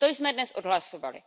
To jsme dnes odhlasovali.